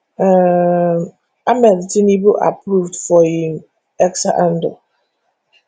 um ahmed tinubu approve for im x handle